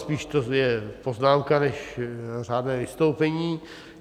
Spíše to je poznámka než řádné vystoupení.